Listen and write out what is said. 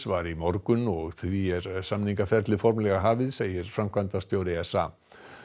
var í morgun og því er samningaferlið formlega hafið segir framkvæmdastjóri s a